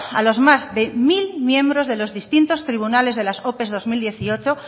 a los más de mil miembros de los distintos tribunales de las ope dos mil dieciocho